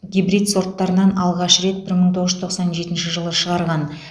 гибрид сорттарынан алғаш рет бір мың тоғыз жүз тоқсан жетінші жылы шығарған